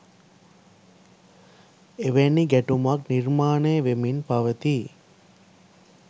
එවැනි ගැටුමක් නිර්මාණය වෙමින් පවතී.